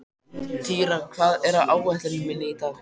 Týra, hvað er á áætluninni minni í dag?